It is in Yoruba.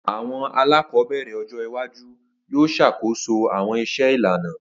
Awọn alakọbẹrẹ ọjọ iwaju yoo ṣakoso awọn iṣẹ ilana.